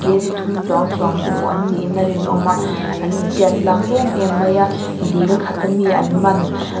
k g thum chuang chuang te pawh an niin a rinawm a an intiat tlang em em mai a dil khat ami an man--